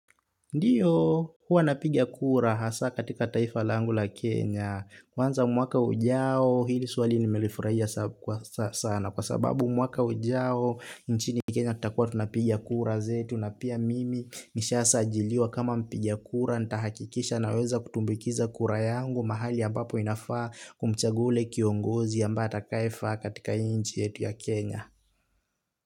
Ndiyo, huwa napigia kura hasa katika taifa langu la Kenya. Kwanza mwaka ujao, hili suwali nimelifurahia sana. Kwa sababu mwaka ujao, nchini Kenya kutakuwa tunapigia kura zetu na pia mimi nishasa ajiliwa kama mpiga kura, ntahakikisha naweza kutumbikiza kura yangu, mahali ambapo inafaa kumchagua ule kiongozi ambaye atakaifa katika inchi yetu ya Kenya.